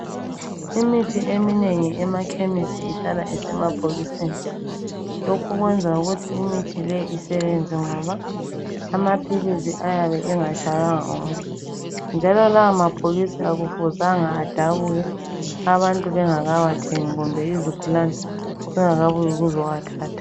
Imithi eminengi emakhemisi ihlala isemabhokisini. Lokhu kwenza ukuthi imithi le isebenze ngoba amaphilisi ayabe engatshaywanga ngumoya. Njalo lawa mabhokisi akufuzanga adabuke abantu bengakawathengi kumbe izigulane zingakabuyi ukuzowathatha.